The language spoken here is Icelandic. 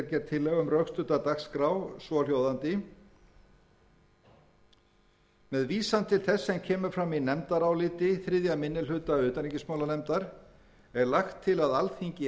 um rökstudda dagskrá svohljóðandi með vísan til þess sem kemur fram í nefndaráliti þriðji minni hluta utanríkismálanefndar er lagt til að alþingi hafni því að svo stöddu að